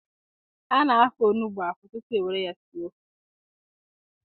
A na-afọ onugbu afọ tupu e nwere ya sie ofe.